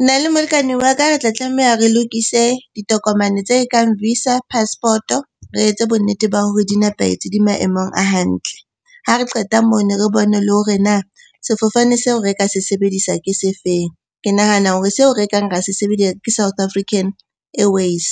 Nna le molekane wa ka re tla tlameha re lokise ditokomane tse kang visa, passport-e. Re etse bonnete ba hore di nepahetse, di maemong a hantle. Ha re qeta mono re bone le hore na sefofane seo re ka se sebedisa ke se feng? Ke nahana hore seo re kang ra se sebedise ke South African Airways.